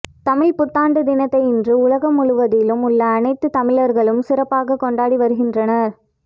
தமிழ் புத்தாண்டு தினத்தை இன்று உலகம் முழுவதிலும் உள்ள அனைத்து தமிழர்களும் சிறப்பாக கொண்டாடி வருகின்றனர்